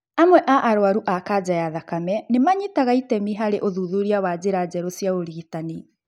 Amwe a arwaru a kanja ya thakame nĩmanyitaga itemi harĩ ũthuthuria wa njĩra njerũ cia ũrigitani